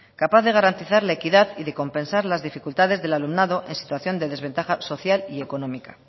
capaz de garantizar la equidad y de compensar las dificultades del alumnado en situación de desventaja social y económica